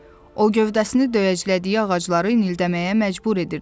O gövdəsini döyəclədiyi ağacları inildəməyə məcbur edirdi.